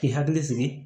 K'i hakili sigi